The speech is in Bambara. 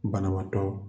Banabaatɔ